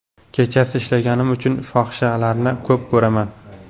Kechasi ishlaganim uchun fohishalarni ko‘p ko‘raman.